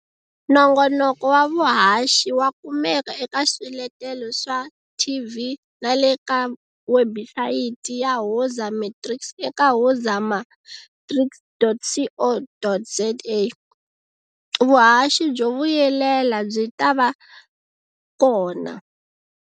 Nongonoko wa vuhaxi wa kumeka eka swiletelo swa TV na le ka webisayiti ya Woza Matrics eka wozamatrics.co.za. Vuhaxi byo vuyelela byi ta va kona.